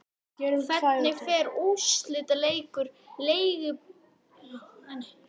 Hvernig fer úrslitaleikur Lengjubikarsins á laugardag?